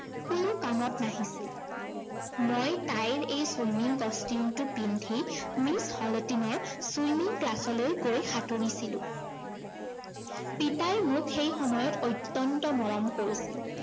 কোনো কামত নাহিছিল। মই তাইৰ এই swimming costume টো পিন্ধি মিচ হলটিনৰ swimming class লৈ গৈ সাঁতুৰিছিলো। পিতাই মোক সেই সময়ত অত্যন্ত মৰম কৰিছিল।